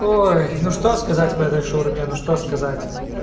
ой ну что сказать по этой шаурме ну что сказать